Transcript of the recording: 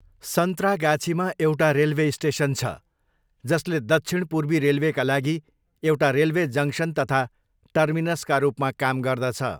सन्त्रागाछीमा एउटा railway station छ जसले दक्षिण पूर्वी रेलवेका लागि एउटा रेलवे जङ्क्सन तथा टर्मिनसका रूपमा काम गर्दछ।